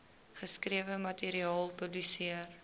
geskrewe materiaal publiseer